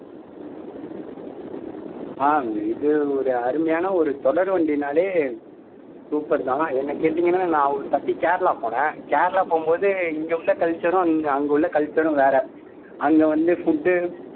ஆஹ் இது ஒரு அருமையான ஒரு தொடர்வண்டினாலே super தான் என்னை கேட்டீங்கன்னா நான் ஒரு வாட்டி கேரளா போனேன் கேரளா போகும்போது இங்கே உள்ள culture உம் அங்கே உள்ள culture உம் வேற அங்கே வந்து food